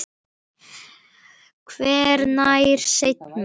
Hvenær seinna?